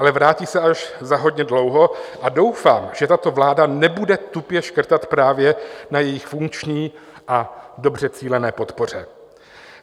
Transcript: Ale vrátí se až za hodně dlouho a doufám, že tato vláda nebude tupě škrtat právě na jejich funkční a dobře cílené podpoře.